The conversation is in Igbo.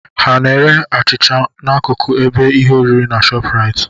Ha n'ere achịcha n'akụkụ ebe ihe oriri nke ShopRite?